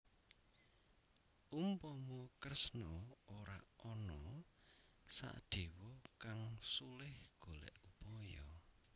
Umpama Kresna ora ana Sadéwa kang sulih golèk upaya